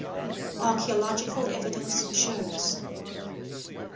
archaeological evidence shows